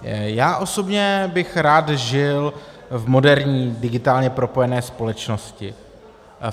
Já osobně bych rád žil v moderní, digitálně propojené společnosti.